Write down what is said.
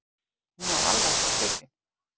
Hún var alvarleg á svipinn.